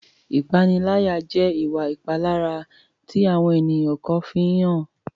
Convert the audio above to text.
Ìpaniláyà jẹ́ ìwà ìpalára tí àwọn ènìyàn kan fi ń hàn.